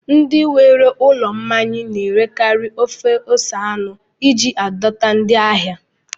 Ndị nwe ụlọ mmanya na-erekarị ofe ose anụ iji dọta ndị ahịa